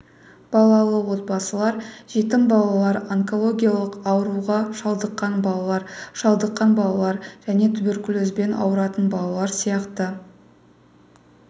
балалы отбасылар жетім балалар онкологиялық ауруға шалдыққан балалар шалдыққан балалар және туберкулезбен ауыратын балалар сияқты